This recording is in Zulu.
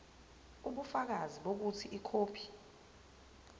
ubufakazi bokuthi ikhophi